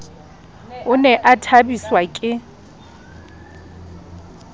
o ne a thabiswa ke